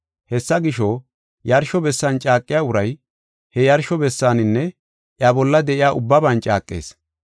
Hessa gisho, yarsho bessan caaqiya uray, he yarsho bessaaninne iya bolla de7iya ubbaban caaqees.